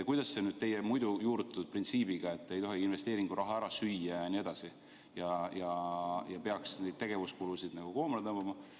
Kuidas see sobitub teie muidu juurutatud printsiibiga, et investeeringuraha ei tohi ära süüa ja tegevuskulusid peaks koomale tõmbama?